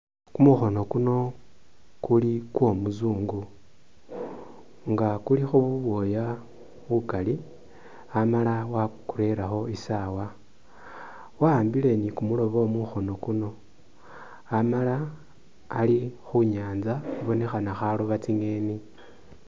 Kumukhono kuno kuli kwo muzungu nga kulikho bubwooya bukali amala wakurerekho isaawa, wa'ambile ni kumulobo mukhono kuno ,amala ali khu nyanza ibonekhana khaloba tsi'ngeni